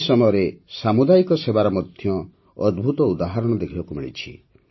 ଏହି ସମୟରେ ସାମୁଦାୟିକ ସେବାର ମଧ୍ୟ ଅଦ୍ଭୁତ ଉଦାହରଣ ଦେଖିବାକୁ ମିଳିଛି